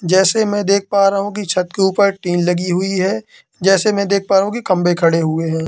जैसे मैं देख पा रहा हूं की छत के ऊपर टीन लगी हुई है जैसे मैं देख पा रहा हूं कि खंबे खड़े हुए हैं।